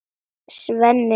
Svenni hlýðir.